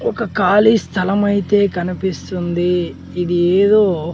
ఒక కాళీ స్థలం అయితే కనిపిస్తుంది. ఇది ఏదో --